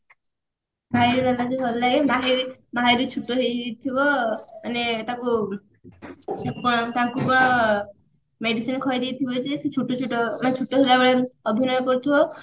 ତାଙ୍କୁ ଭଲ ଲାଗେ ମାହିର ମାହିର ଛୁଟ ହେଇଯାଇଥିବ ମାନେ ତାକୁ medicine ଖୁଆଇଦେଇଥିବ ଯେ ସେ ଛୁଟ ଛୁଟ ନା ଛୁଟ ହେଲାବେଳେ ଅଭିନୟ କରୁଥିବ